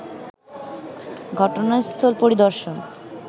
ঘটনাস্থল পরিদর্শন